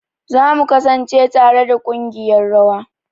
Za mu kasance tare da kungiƴar rawa.